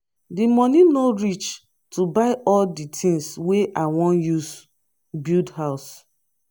di moni no reach to buy all di tins wey i wan use build house.